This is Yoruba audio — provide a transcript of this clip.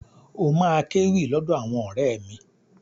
Ó máa kéwì lọ́dọ̀ àwọn ọ̀rẹ́ mi.